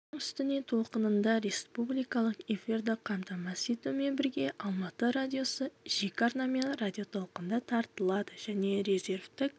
оның үстіне толқынында республикалық эфирді қамтамасыз етумен бірге алматы радиосы жеке арнамен радиотолқында таратылады және резервтік